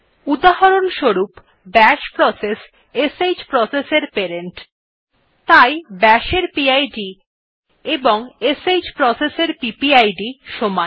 উদাহরণস্বরূপ bash process শ্ process এর প্যারেন্ট তাই bashএর পিড এবং শ্ প্রসেস এর পিপিআইডি সমান